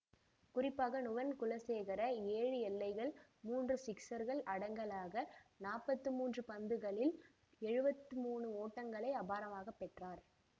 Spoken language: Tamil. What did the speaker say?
குறிப்பாக நுவன் குலசேகர ஏழு எல்லைகள் மூன்று சிக்சர்கள் அடங்கலாக ற்பத்தி மூன்று பந்துகளில் எழுவத்தி மூன்று ஓட்டங்களை அபாரமாகப் பெற்றார்